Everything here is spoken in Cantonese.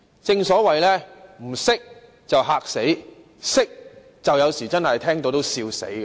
正所謂"不懂的便嚇死；懂的有時聽到也笑死"。